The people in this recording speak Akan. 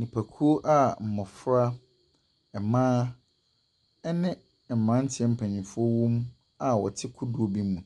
Nnipakuo a mmɔfra, mmaa ɛne mmeranteɛ mpanimfoɔ wɔ mu a wɔte kodoɔ bi mu.